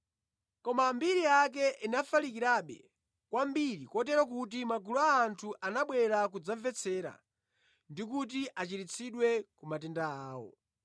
Koma mbiri yake inafalikirabe kwambiri kotero kuti magulu a anthu anabwera kudzamvetsera ndi kuti achiritsidwe ku matenda awo.